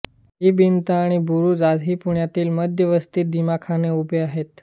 ही भिंत आणि बुरूजं आजही पुण्यातील मध्यवस्तीत दिमाखाने उभे आहेत